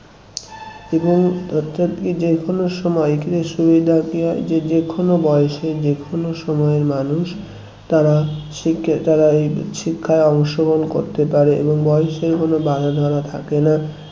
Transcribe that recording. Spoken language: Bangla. . যে কোনো সময় এটার সুবিধা কি হয় যে যে কোন বয়সে যে কোন সময়ের মানুষ তারা শিক্ষা তারা শিক্ষায় অংশগ্রহণ করতে পারে এবং বয়সের কোনো বাঁধা ধরা থাকে না